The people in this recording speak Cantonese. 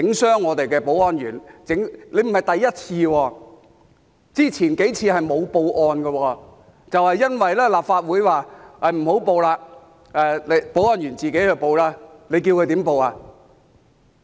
他們並非第一次，之前數次沒有報案，是因為立法會說不報案，由保安員自行報案，你叫他們怎樣報案？